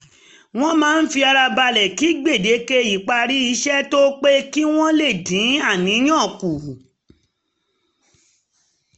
wọ́n um máa fi ara balẹ̀ kí gbèdéke ìparí iṣẹ́ tó pé kí wọ́n lè dín àníyàn kù